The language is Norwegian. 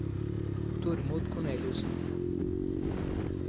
Tormod Korneliussen